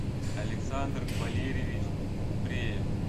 александр валерьевич купреев